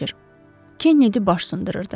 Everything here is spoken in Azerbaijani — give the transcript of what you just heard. Kennedi baş sındırırdı.